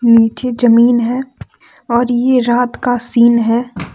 नीचे जमीन है और ये रात का सीन है।